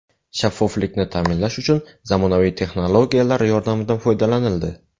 Shaffoflikni ta’minlash uchun zamonaviy texnologiyalar yordamidan foydalanildi.